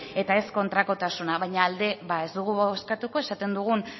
eta ez kontrakotasuna baina alde ba ez dugu eskatuko esaten dugun